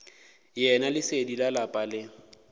yena lesedi la lapa le